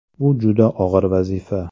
Bu juda og‘ir vazifa.